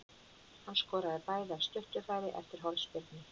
Hann skoraði bæði af stuttu færi eftir hornspyrnur.